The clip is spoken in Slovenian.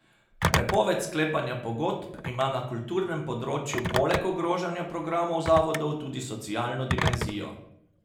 Prepoved sklepanja pogodb ima na kulturnem področju poleg ogrožanja programov zavodov tudi socialno dimenzijo.